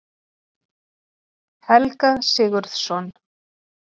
Helga Sigurðsson.